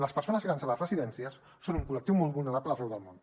les persones grans a les residències són un col·lectiu molt vulnerable arreu del món